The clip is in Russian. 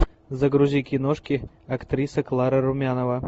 загрузи киношки актриса клара румянова